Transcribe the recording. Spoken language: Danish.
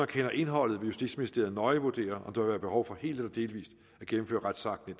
kender indholdet vil justitsministeriet nøje vurdere om der vil være behov for helt eller delvist at gennemføre retsakten